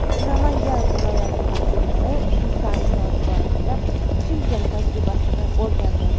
Namangan viloyati vakillari suv ta’minoti borasida Chimkent tajribasini o‘rgandi.